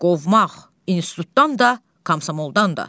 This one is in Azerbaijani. Qovmaq institutdan da, komsomoldan da.